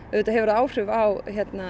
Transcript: auðvitað hefur það áhrif á